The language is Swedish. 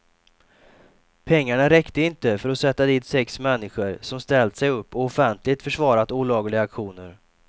Pengarna räckte inte för att sätta dit sex människor som ställt sig upp och offentligt försvarat olagliga aktioner.